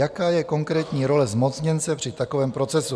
Jaká je konkrétní role zmocněnce při takovém procesu?